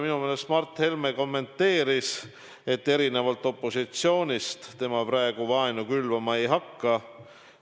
Minu meelest Mart Helme kommenteeris, et erinevalt opositsioonist tema praegu vaenu külvama ei hakka.